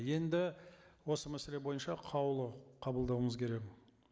енді осы мәселе бойынша қаулы қабылдауымыз керек